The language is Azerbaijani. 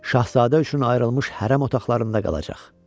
Şahzadə üçün ayrılmış hərəm otaqlarında qalacaq.